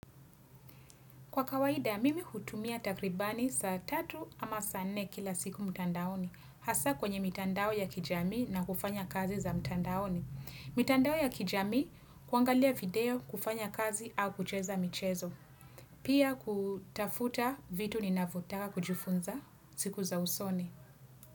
Kwa kawaida, mimi hutumia takribani saa 3 ama saa 4 kila siku mtandaoni. Hasaa kwenye mitandao ya kijamii na kufanya kazi za mtandaoni. Mitandao ya kijamii, kuangalia video kufanya kazi au kucheza michezo. Pia kutafuta vitu ninavyotaka kujifunza siku za usoni.